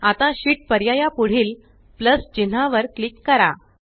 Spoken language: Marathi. आता शीत पर्याया पुढील प्लस चिन्हावर क्लिक करा